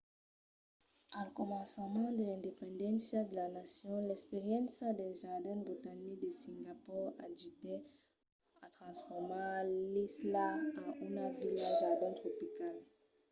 al començament de l'independéncia de la nacion l'experiéncia dels jardins botanics de singapor ajudèt a transformar l'isla en una vila jardin tropical